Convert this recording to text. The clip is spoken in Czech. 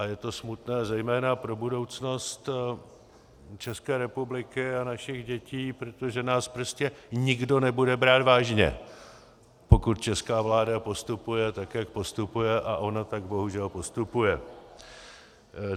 A je to smutné zejména pro budoucnost České republiky a našich dětí, protože nás prostě nikdo nebude brát vážně, pokud česká vláda postupuje tak, jak postupuje, a ona tak bohužel postupuje.